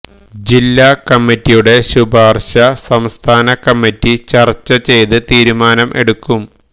ജില്ലാ കമ്മറ്റിയുടെ ശുപാർശ സംസ്ഥാന കമ്മറ്റി ചർച്ച ചെയ്ത് തീരുമാനം എടുക്കും